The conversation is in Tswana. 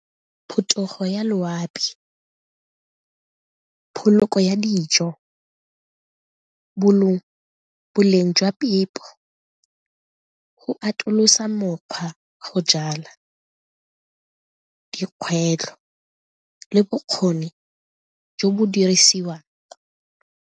Phetogo ya loapi, ya dijo, boleng jwa phepo, go atolosa mokgwa, go jala, dikgwetlho le bokgoni jo bo dirisiwang.